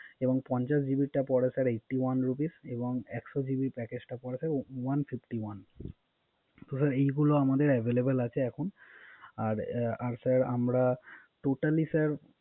এবং পঞ্চাশ জিবির টা পরে Sir eighty one rupee এবং একশো জিবি প্যাকেজ টা পরে one fifty one